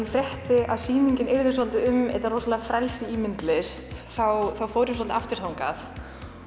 frétti að sýningin yrði svolítið um þetta rosalega frelsi í myndlist þá fór ég svolítið aftur þangað